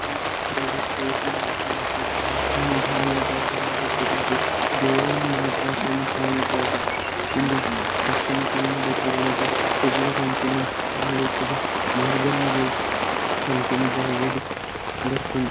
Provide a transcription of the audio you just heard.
ಈ ಚಿತ್ರಡ್ ತೋಜುನಂಚಿಂತ ಸಮುದಾಯ ಭವನದ ಪುದರ್ ದೇವ ಮಾತ ಸಮುದಾಯ ಭವನ. ಇಂದು ದಕ್ಷಿಣ ಕನ್ನಡ ಜಿಲ್ಲೆದ ಕುಡ್ಲ ಪನ್ಪುನ ತಾಲೂಕುದ ಮೋರ್ಗನ್ ಗೇಟ್ಸ್ ಪನ್ಪಿನ ಜಾಗೆಡ್ ಬರ್ಪುಂಡು.